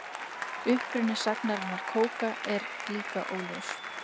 Uppruni sagnarinnar kóka er líka óljós.